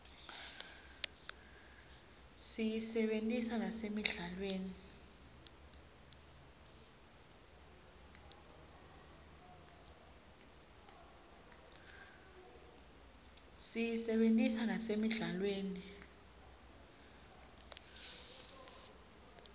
siyisebentisa nasemidlalweni